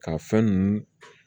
Ka fɛn ninnu